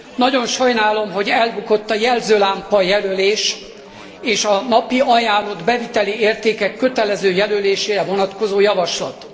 Nagyon sajnálom, hogy elbukott a jelzőlámpa jelölés és a napi ajánlott beviteli értékek kötelező jelölésére vonatkozó javaslat.